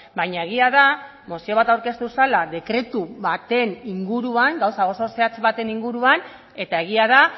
baina egia da mozio bat aurkeztu zela dekretu baten inguruan gauza oso zehatz baten inguruan eta egia da